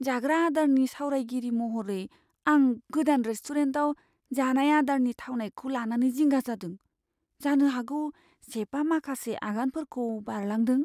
जाग्रा आदारनि सावरायगिरि महरै, आं गोदान रेस्टुरेन्टआव जानाय आदारनि थावनायखौ लानानै जिंगा जादों। जानो हागौ चेफआ माखासे आगानफोरखौ बारलांदों।